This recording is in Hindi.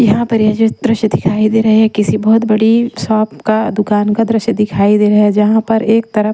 यहाँ पर ये जो दृश्य दिखाई दे रहे हैं किसी बहुत बड़ी शॉप का दुकान का दृश्य दिखाई दे रहा है जहाँ पर एक तरफ--